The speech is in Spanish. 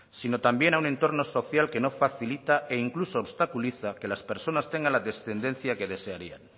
sino también a un entorno social que no facilita e incluso obstaculiza que las personas tengan la descendencia que desearían